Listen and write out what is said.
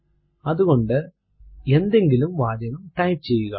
അതുകൊണ്ട് എന്തെങ്കിലും വാചകം ടൈപ്പ് ചെയ്യുക